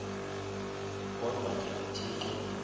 kodwa ke uthixo